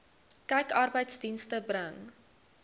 kyk arbeidsdienste bring